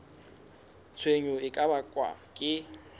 tshenyo e ka bakwang ke